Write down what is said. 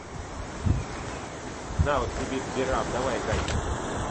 навык сибирь сберапп давай играть в